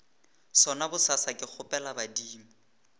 sona bosasa ke kgopela badimo